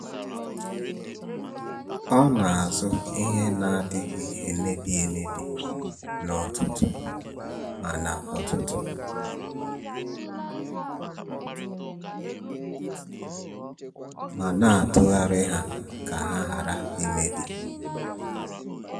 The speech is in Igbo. Ọ na-azụta ihe na-adịghị emebi emebi n’ọtụtù ma n’ọtụtù ma na-atụgharị ha ka ha ghara imebi.